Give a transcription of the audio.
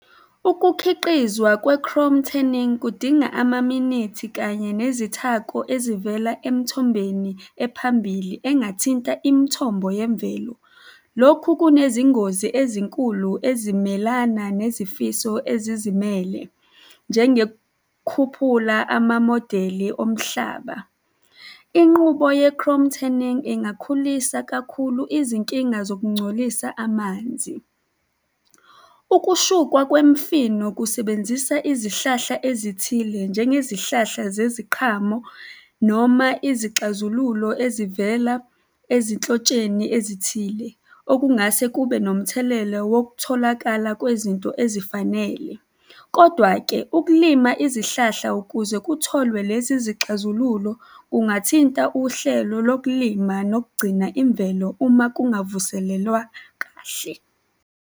Ukukhiqizwa kwe-chrome tanning kudinga amaminithi kanye nezithako ezivela emithombeni ephambili engathinta imithombo yemvelo. Lokhu kunezingozi ezinkulu ezimelana nezifiso ezizimele njengekhuphula amamodeli omhlaba. Inqubo ye-chrome tanning ingakhulisa kakhulu izinkinga zokungcolisa amanzi. Ukushukwa kwemifino kusebenzisa izihlahla ezithile, njengezihlahla zeziqhamo noma izixazululo ezivela ezinhlotsheni ezithile okungase kube nomthelela wokutholakala kwezinto ezifanele. Kodwa-ke ukulima izihlahla ukuze kutholwe lezi zixazululo kungathinta uhlelo lokulima nokugcina imvelo uma kungavuselelwa kahle.